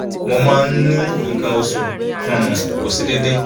mo ma n ni nkan osu ti um ko se deede